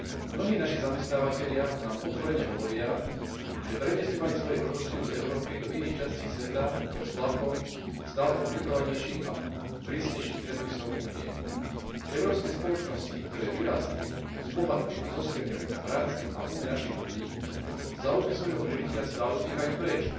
Mnohí naši zamestnávatelia nám otvorene hovoria, že premiestňovali už svoje produkty z Európy do iných častí sveta pod tlakom stále komplikovanejších a prísnejších predpisov Únie. Európske spoločnosti, ktoré vyrástli, zbohatli a zosilneli na práci a ume našich ľudí, v záujme svojho prežitia stále utekajú preč.